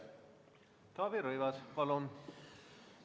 Taavi Rõivas, palun!